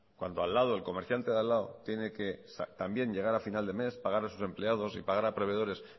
cuando al lado el comerciante de al lado tiene que también llegar a final de mes pagar a sus empleados y pagar a proveedores